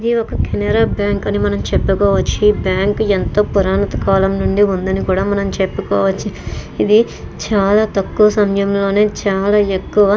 ఇది ఒక కెనరా బ్యాంక్ అని మనం చెప్పుకోవచ్చు ఈ బ్యాంక్ ఎంతో పురణత కాలం నుండి ఉందని కూడా మనం చెప్పుకోవచ్చు ఇది చాలా తక్కువ సమయం లోనే చాలా ఎక్కువ --